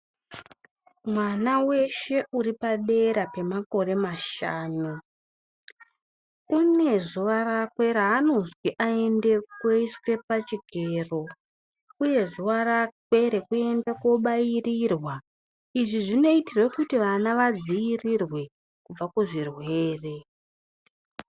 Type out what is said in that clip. Mwana weshe uripadera pemakore mashanu une zuwa rakwe raanozwi aende koiswe pachikero uye zuwa rakwe rekuenda kobairirwa izvi zvinoitirwe kuti vana vadziirirwe kubva kuzvirwere.